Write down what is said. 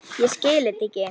Ég skil þetta ekki!